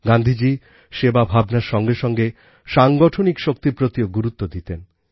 গান্ধীজী সেবা ভাবনার সঙ্গে সঙ্গে সাংগঠনিক শক্তির প্রতিও গুরুত্ব দিতেন